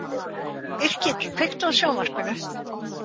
Yrkill, kveiktu á sjónvarpinu.